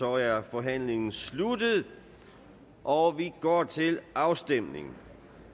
er forhandlingen sluttet og vi går til afstemning